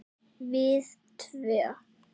Við tvö.